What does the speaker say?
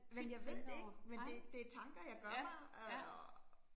Men jeg ved det ikke, men det det tanker jeg gør mig øh